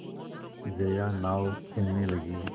जया नाव खेने लगी